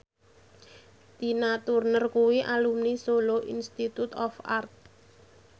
Tina Turner kuwi alumni Solo Institute of Art